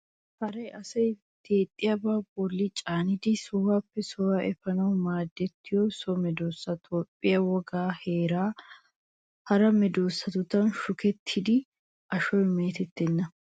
Haree asay deexxiyabaa a bolli caanidi sohuwaappe sohuwaa efaanawu maadettiyo so medoosa. Toophphiyaa wogan haree hara medoosatudan shukettidi ashoy meetettenna.